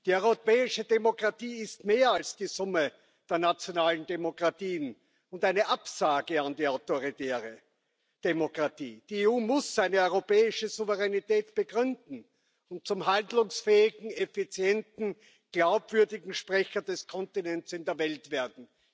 Die europäische Demokratie ist mehr als die Summe der nationalen Demokratien und eine Absage an die autoritäre Demokratie. Die EU muss eine europäische Souveränität begründen und zum handlungsfähigen, effizienten, glaubwürdigen Sprecher des Kontinents in der Welt werden.